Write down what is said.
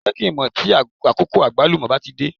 Jẹ́ kí n mọ̀ tí àkókò Àgbálùmọ́ bá ti dé.